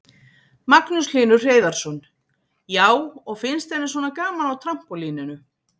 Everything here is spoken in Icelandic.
Magnús Hlynur Hreiðarsson: Já, og finnst henni svona gaman á trampólíninu?